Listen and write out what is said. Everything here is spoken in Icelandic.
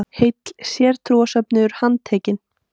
HEILL SÉRTRÚARSÖFNUÐUR HANDTEKINN.